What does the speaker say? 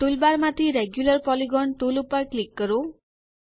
toolbar માંથી regular polygon tool પર click કરો